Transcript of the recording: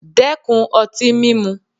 Dẹ́kun ọtí mímu!